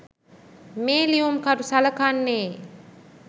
මේ ලියුම්කරු සලකන්නේ